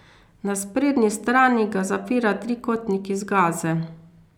Na sprednji strani ga zapira trikotnik iz gaze.